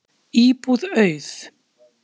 Íbúð auð